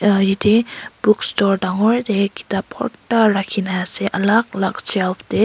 yatae bookstore dangor tae kitap bhorta rakhina ase alak alak shelf tae--